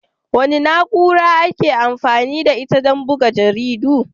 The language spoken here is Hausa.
Wace na'ura ake amfani da ita don buga jaridu?